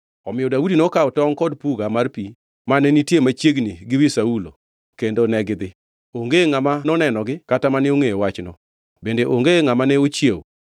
Omiyo Daudi nokawo tongʼ kod puga mar pi mane nitie machiegni gi wi Saulo kendo negidhi. Onge ngʼama nonenogi kata mane ongʼeyo wachno, bende onge ngʼama ne ochiewo. Giduto ne ginindo, nikech Jehova Nyasaye nomiyogi nindo matut.